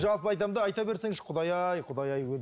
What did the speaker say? жалпы айтамын да айта берсеңізші құдай ай құдай ай